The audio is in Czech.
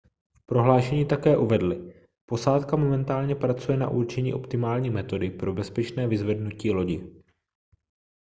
v prohlášení také uvedli posádka momentálně pracuje na určení optimální metody pro bezpečné vyzvednutí lodi